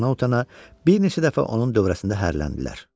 Utana-utana bir neçə dəfə onun dövrəsində hərləndilər.